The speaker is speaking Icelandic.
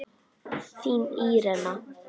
Þín Írena.